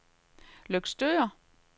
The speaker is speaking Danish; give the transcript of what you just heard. Løgstør